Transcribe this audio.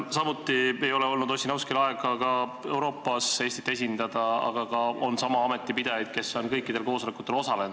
Samuti ei olnud Ossinovskil aega Euroopas Eestit esindada, aga on sama ameti pidajaid, kes on kõikidel koosolekutel osalenud.